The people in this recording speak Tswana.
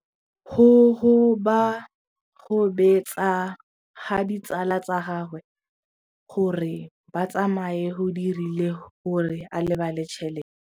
Go gobagobetsa ga ditsala tsa gagwe, gore ba tsamaye go dirile gore a lebale tšhelete.